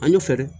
An y'o fɛɛrɛ